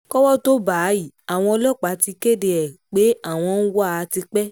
kọ́wọ́ tóo bá a yìí àwọn ọlọ́pàá ti kéde ẹ̀ pé àwọn ń wá a tipẹ́